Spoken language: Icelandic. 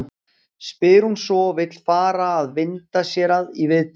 spyr hún svo og vill fara að vinda sér í viðtalið.